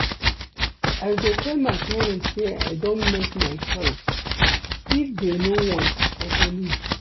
I go tell my parents say I don make my choice, if dey no want I go leave